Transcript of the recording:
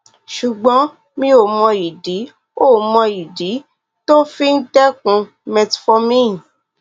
ṣùgbọn mi ò mọ ìdí ò mọ ìdí tó o fi dẹkun metformin